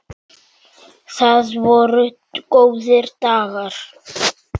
Það voru góðir dagar.